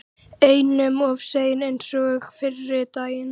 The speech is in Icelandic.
Einum of seinn eins og fyrri daginn!